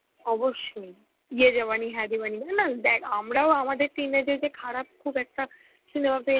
অবশ্যই. Hindi না দেখ আমরাও আমাদের teenage এ খারাপ খুব একটা cinema পেয়ছি